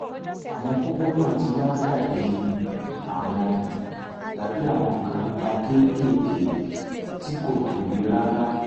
àwọn kókó náà ti wá dàbí àwọn dàbí àwọn nǹkan pupa kéékèèké tí kò tóbi rárá